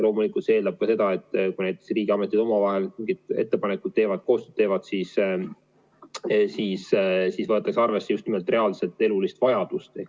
Loomulikult see eeldab seda, et kui näiteks riigiametid omavahel mingi ettepaneku teevad, koostööd teevad, siis võetakse arvesse just nimelt reaalset elulist vajadust.